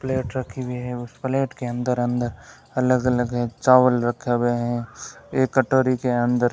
plate रखी हुई है उस प्लेट के अंदर अंदर अलग अलग चावल रखे हुए हैं एक कटोरी के अंदर --